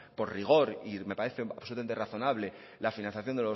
por rigor y me parece absolutamente razonable la financiación